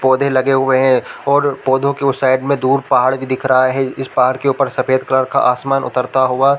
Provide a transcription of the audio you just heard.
पौधे लगे हुए है और पौधों के उस साइड में दूर पहाड़ भी दिख रहा है इस पहाड के ऊपर सफ़ेद कलर का आसमान उतरता हुआ --